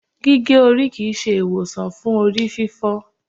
gige ori kii ṣe iwosan fun orififo